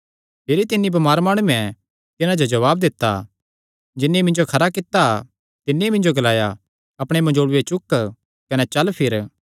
भिरी तिन्नी बमार माणुये तिन्हां जो जवाब दित्ता जिन्नी मिन्जो खरा कित्ता तिन्नी मिन्जो ग्लाया अपणे मंजोल़ूये चुक कने चल फिर